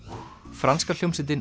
franska hljómsveitin